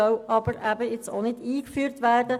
Sie soll nun aber auch nicht eingeführt werden.